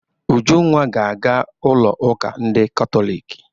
Ujunwa ga aga ụlọ uka ndị katoliki.